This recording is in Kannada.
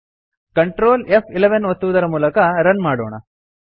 ಕಂಟ್ರೋಲ್ ಫ್11 ಒತ್ತುವುದರ ಮೂಲಕ ರನ್ ಮಾಡೋಣ